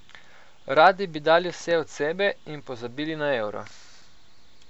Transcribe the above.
Radi bi dali vse od sebe in pozabili na Euro.